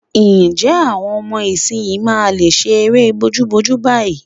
Ǹjẹ́ àwọn ọmọ ìsinyìí máa lè ṣe eré bojúbojú báyìí?